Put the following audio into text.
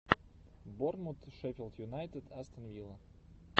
борнмут шеффилд юнайтед астон вилла